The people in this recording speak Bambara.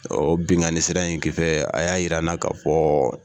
O benkanni sira in kisɛ a y'a yira an na ka fɔ